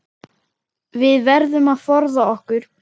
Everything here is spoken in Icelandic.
Við verðum að forða okkur.